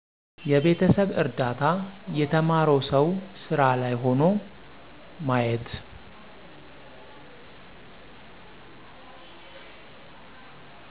የቤተሰብ እርዳታ የተማረው ሠው ሢራ ላይ ሆኖ ማየት